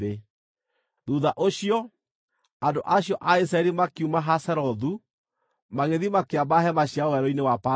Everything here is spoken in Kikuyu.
Thuutha ũcio, andũ acio a Isiraeli makiuma Hazerothu magĩthiĩ makĩamba hema ciao Werũ-inĩ wa Parani.